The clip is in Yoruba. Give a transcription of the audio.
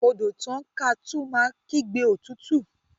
odò tán ká tún máa kígbe òtútù